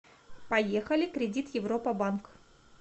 поехали кредит европа банк